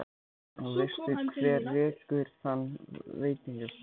Og veistu hver rekur þann veitingastað?